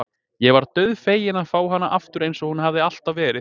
Ég varð dauðfegin að fá hana aftur eins og hún hafði alltaf verið.